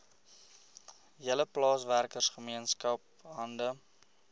hele plaaswerkergemeenskap hande